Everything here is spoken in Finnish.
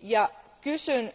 Ja kysyn